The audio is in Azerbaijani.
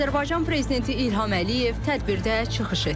Azərbaycan prezidenti İlham Əliyev tədbirdə çıxış etdi.